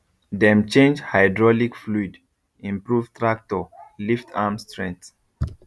dem change hydraulic fluid improve tractor lift arm strength